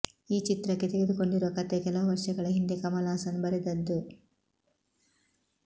ಈ ಚಿತ್ರಕ್ಕೆ ತೆಗೆದುಕೊಂಡಿರುವ ಕಥೆ ಕೆಲವು ವರ್ಷಗಳ ಹಿಂದೆ ಕಮಲ್ ಹಾಸನ್ ಬರೆದದ್ದು